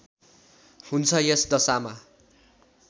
हुन्छ यस दशामा